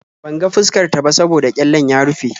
Ban ga fuskar ta ba saboda ƙyallen ya rufe.